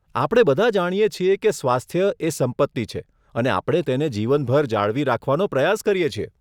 આપણે બધા જાણીએ છીએ કે સ્વાસ્થ્ય એ સંપત્તિ છે અને આપણે તેને જીવનભર જાળવી રાખવાનો પ્રયાસ કરીએ છીએ.